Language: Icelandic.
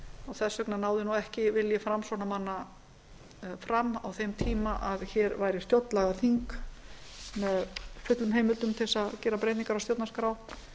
máli því miður og þess vegna náði vilji framsóknarmanna ekki fram á þeim tíma að hér væri stjórnlagaþing með fullu heimildum til að gera breytingar á stjórnarskrá